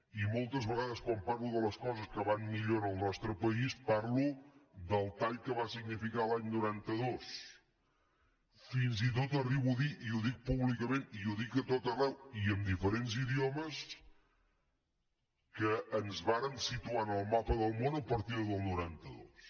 i moltes vegades quan parlo de les coses que van millor en el nostre país parlo del tall que va significar l’any noranta dos fins i tot arribo a dir i ho dic públicament i ho dic a tot arreu i en diferents idiomes que ens vàrem situar en el mapa del món a partir del noranta dos